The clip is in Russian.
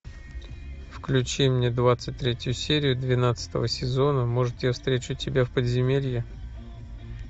включи мне двадцать третью серию двенадцатого сезона может я встречу тебя в подземелье